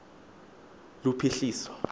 lophuhliso